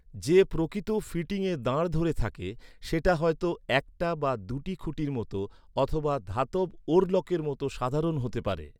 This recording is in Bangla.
যে প্রকৃত ফিটিংয়ে দাঁড় ধরে থাকে, সেটা হয়তো, একটা বা দু’টি খুঁটির মতো অথবা ধাতব ওরলকের মতো সাধারন হতে পারে।